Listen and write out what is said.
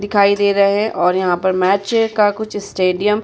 दिखाई दे रहे हैं और यहाँ पर मैच का कुछ स्टेडियम --